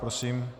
Prosím.